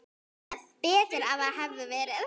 Betur að það hefði verið.